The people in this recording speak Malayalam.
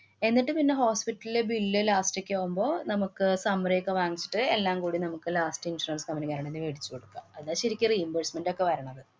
എന്നിട്ട് പിന്നെ hospital ലെ billlast ഒക്കെ ആവുമ്പ നമ്മുക്ക് summary യൊക്കെ വാങ്ങിച്ചിട്ട് എല്ലാം കൂടെ നമ്മള്ക്ക് last insurance നമ്മള് വേണങ്കി മേടിച്ച് കൊടുക്കാം. അതാ ശരിക്കും reimbursement ഒക്കെ വരണത്.